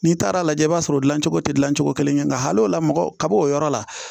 N'i taara lajɛ i b'a sɔrɔ dilancogo te cogo kelen kɛ nga hal'o la mɔgɔ kab'o yɔrɔ la